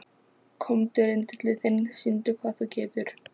Komdu rindillinn þinn, sýndu hvað þú getur.